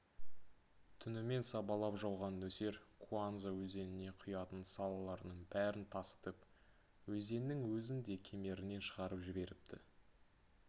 түнімен сабалап жауған нөсер куанза өзеніне құятын салалардың бәрін тасытып өзеннің өзін де кемерінен шығарып жіберіпті